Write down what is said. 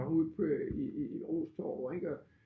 Og ud i i RO's Torv ik og